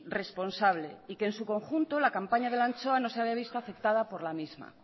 responsable y que en su conjunto la campaña de la anchoa no se había visto afectada por la misma